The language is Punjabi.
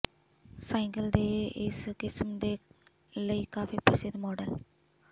ਸਾਈਕਲ ਦੇ ਇਸ ਕਿਸਮ ਦੇ ਲਈ ਕਾਫ਼ੀ ਪ੍ਰਸਿੱਧ ਮਾਡਲ